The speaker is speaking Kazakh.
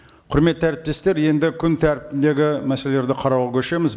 құрметті әріптестер енді күн тәртібіндегі мәселелерді қарауға көшеміз